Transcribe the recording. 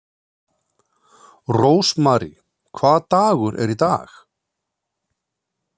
Rósmary, hvaða dagur er í dag?